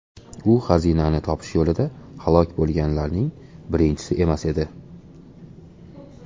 U xazinani topish yo‘lida halok bo‘lganlarning birinchisi emas edi.